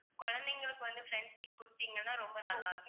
குழந்தைகளுக்கு வந்து front seat கொடுத்தீங்கன்னா ரொம்ப நல்லா இருக்கும்.